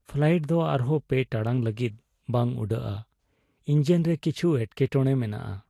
Flight ᱫᱚ ᱟᱨᱦᱚᱸ ᱓ ᱴᱟᱲᱟᱝ ᱞᱟᱹᱜᱤᱫ ᱵᱟᱝ ᱩᱰᱟᱹᱜᱼᱟ ᱾ ᱤᱸᱡᱤᱱ ᱨᱮ ᱠᱤᱪᱷᱩ ᱮᱴᱠᱮᱴᱚᱬᱮ ᱢᱮᱱᱟᱜᱼᱟ ᱾